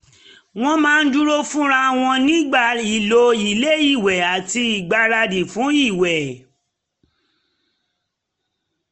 wọ́n máa dúró fúnra wọn nígbà ìlò ilé-ìwẹ̀ àti ìgbáradì fún ìwẹ̀